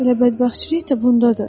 Elə bədbəxtçilik də bundadır.